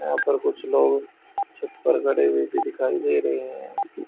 यहां पर कुछ लोग छत पर गड़े हुए भी दिखाई दे रहीं हैं।